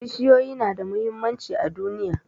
Bishiyoyi na da muhimmanci a duniya